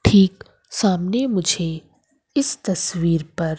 ठीक सामने मुझे इस तस्वीर पर--